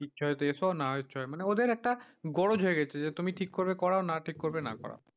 ইচ্ছা হয়তো এস না ইচ্ছা হয় মানে ওদের একটা গরজ হয়ে গেছে যে তুমি ঠিক করবে করাও না ঠিক করবে না করাও।